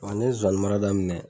Wa ne ye nsonsaninmara daminɛ